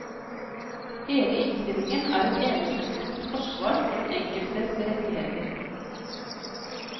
Hele innstillingen er et eneste stort forsvar for den enkeltes rettigheter.